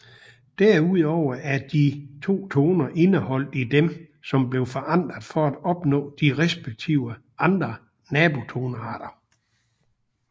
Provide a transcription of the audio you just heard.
Derudover er de to toner indeholdt i dem som blev forandret for at opnå de respektive andre nabotonearter